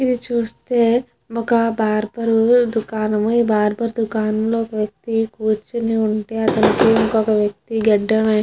ఇవి చూస్తే ఇది ఒక బార్బర్ దుకానము ఈ బార్బర్ దుకాణం లో ఒక వ్యక్తి కూర్చొని ఉంటే ఇంకొక వ్యక్తి గడ్డం --